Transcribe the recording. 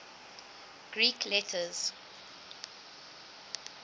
greek letters